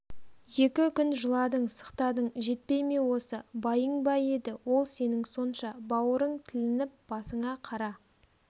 екі күн жыладың-сықтадың жетпей ме осы байың ба еді ол сенің сонша бауырың тілініп басыңа қара